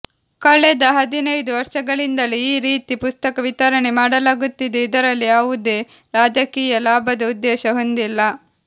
ಕಳೆದ ಹದಿನೈದು ವರ್ಷಗಳಿಂದಲೂ ಈ ರೀತಿ ಪುಸ್ತಕ ವಿತರಣೆ ಮಾಡಲಾಗುತ್ತಿದೆ ಇದರಲ್ಲಿ ಯಾವೂದೇ ರಾಜಕೀಯ ಲಾಭದ ಉದ್ದೇಶ ಹೊಂದಿಲ್ಲ